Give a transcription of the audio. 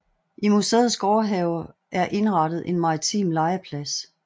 I museets gårdhave er indrettet en maritim legeplads